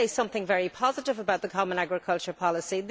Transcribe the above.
Let me say something very positive about the common agricultural policy.